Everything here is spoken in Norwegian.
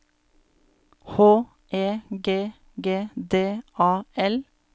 H E G G D A L